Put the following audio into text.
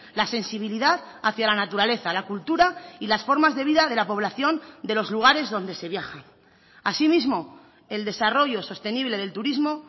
la sensibilidad hacia la naturaleza la cultura y las formas de vida de la población de los lugares donde se viaja asimismo el desarrollo sostenible del turismo